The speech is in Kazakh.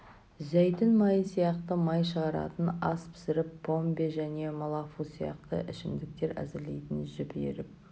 зәйтүн майы сияқты май шығаратын ас пісіріп помбе және малафу сияқты ішімдіктер әзірлейтін жіп иіріп